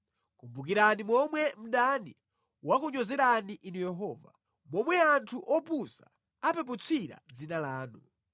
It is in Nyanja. Kumbukirani momwe mdani wakunyozerani Inu Yehova, momwe anthu opusa apeputsira dzina lanu.